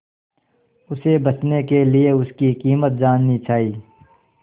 उसे बचने के लिए उसकी कीमत जाननी चाही